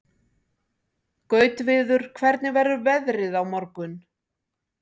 Gautviður, hvernig verður veðrið á morgun?